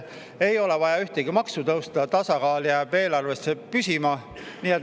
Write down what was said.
" Ei ole vaja ühtegi maksu tõsta, tasakaal jääb eelarves püsima.